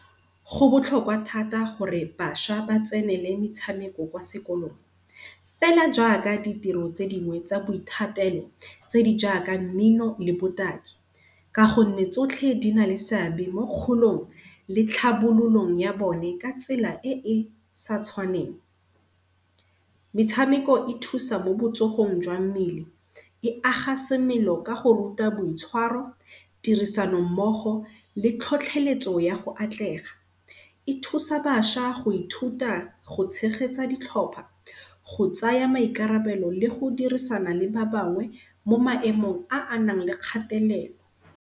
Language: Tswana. Go botlhokwa thata gore basha ba tsenele metshameko kwa sekolong. Fela jaaka ditiro tse dingwe tsa boithatelo tse di jaaka mmino le botaki, ka gonne tsotlhe di na le seabe mo kgolong le tlhabololong ya bone ka tsela e e sa tshwaneng. Metshameko e thusa mo botsogong jwa mmele, e aga semelo kago ruta boitshwaro, tirisanommogo le tlhotlheletso ya go atlega. E thusa basha go ithuta go tshegetsa ditlhopa go tsaya maikarabelo le go dirisana le ba bangwe mo maemong a anang le kgathelelo.